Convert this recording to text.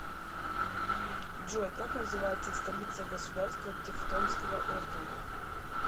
джой как называется столица государство тевтонского ордена